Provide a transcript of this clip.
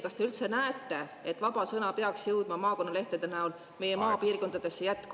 Kas te üldse näete, et vaba sõna peaks jõudma maakonnalehtede näol jätkuvalt meie maapiirkondadesse?